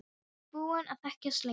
Þið eruð búin að þekkjast lengi.